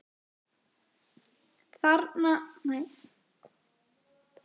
Þarf hann að hafa reynslu?